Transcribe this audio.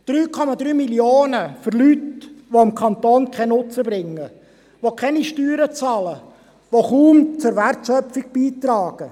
3,3 Mio. Franken für Leute, welche dem Kanton keinen Nutzen bringen, die keine Steuern bezahlen, die kaum etwas zur Wertschöpfung beitragen.